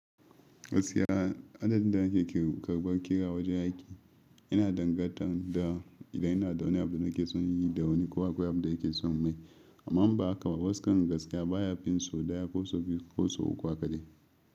Gaskiya adadin da kake karɓar ƙira wajen aiki yana danganta da idan yana da wani abu da kake son yi da wani kuwa abu da yake son mai. Amma ba haka ba, waskan gaskiya baya fin so ɗaya ko so biyu ko so uku hakaɗai.